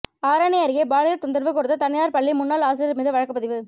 ஆரணி அருகே பாலியல் தொந்தரவு கொடுத்த தனியார் பள்ளி முன்னாள் ஆசிரியர் மீது வழக்குப்பதிவு